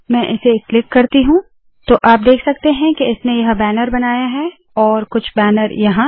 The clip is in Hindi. मैं इसे क्लिक करती हूँ तो आप देख सकते है के इसने यह बैनर बनाया है और कुछ बैनर यहाँ